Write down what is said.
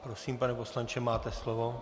Prosím, pane poslanče, máte slovo.